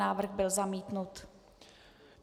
Návrh byl zamítnut.